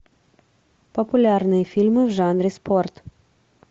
популярные фильмы в жанре спорт